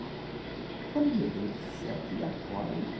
Falei, meu Deus do céu, e agora?